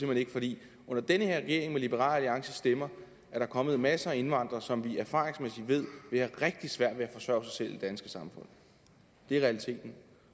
hen ikke fordi under den her regering med liberal alliances stemmer kommet masser af indvandrere som vi erfaringsmæssigt ved vil have rigtig svært ved at forsørge sig selv i det danske samfund det er realiteten